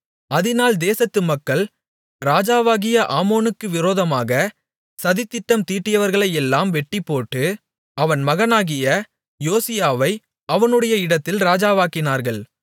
அதினால் தேசத்து மக்கள் ராஜாவாகிய ஆமோனுக்கு விரோதமாக சதித்திட்டம் தீட்டியவர்களையெல்லாம் வெட்டிப்போட்டு அவன் மகனாகிய யோசியாவை அவனுடைய இடத்தில் ராஜாவாக்கினார்கள்